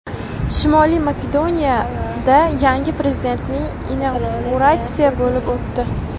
Shimoliy Makedoniyada yangi prezidentning inauguratsiyasi bo‘lib o‘tdi.